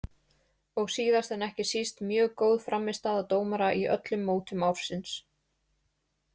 Og síðast en ekki síst mjög góð frammistaða dómara í öllum mótum ársins.